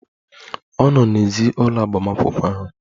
Ọ nọ n'èzí ụlọ agbamakwụkwọ ahụ.